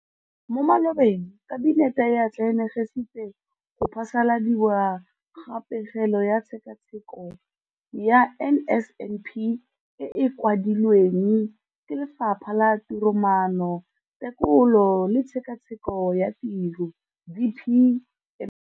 Mo malobeng Kabinete e atlenegisitse go phasaladiwa ga Pegelo ka Tshekatsheko ya NSNP e e kwadilweng ke Lefapha la Tiromaano, Tekolo le Tshekatsheko ya Tiro DPME.